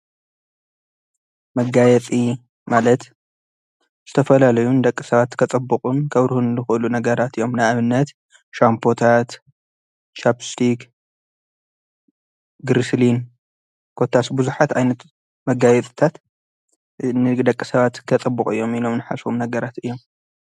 መጋየፂ ማለት ዝተፈላለዩ ደቂ ሰባት ከፀቡቁን ከብርሁን ዝክእሉ ነገራት እዮም። ንኣብነት ሻምፖታት ቻብስቲግ ግርስልን ኮታስ ብዙሓት ዓይነት መጋየፅታት ንደቂ ሰባት ከፀቡቁ እዮም ኢሎም ዝተሓሰቡ ነገራት እዮም።